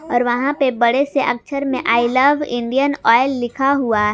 और वहां पे बड़े से अक्षर में आई लव इंडियन ऑयल लिखा हुआ है।